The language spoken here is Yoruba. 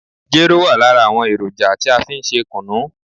Jero wa lára àwọn èròjà tí a fí n ṣe kùnú.